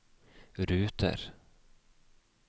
ruter